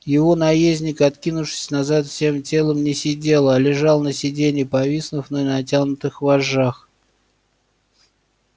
его наездник откинувшись назад всем телом не сидел а лежал на сиденье повиснув на натянутых вожжах